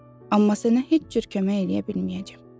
Amma sənə heç cür kömək eləyə bilməyəcəm.